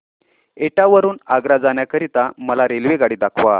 एटा वरून आग्रा जाण्या करीता मला रेल्वेगाडी दाखवा